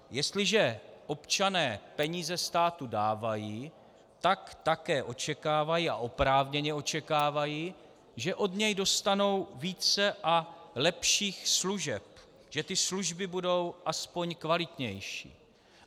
Jestliže občané peníze státu dávají, tak také očekávají, a oprávněně očekávají, že od něj dostanou více a lepších služeb, že ty služby budou aspoň kvalitnější.